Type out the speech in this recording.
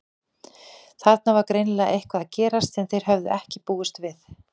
Þarna var greinilega eitthvað að gerast sem þeir höfðu ekki búist við.